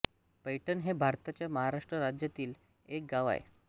पैठण हे भारताच्या महाराष्ट्र राज्यातील एक गाव आहे